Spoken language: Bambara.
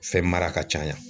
Fɛn mara ka caya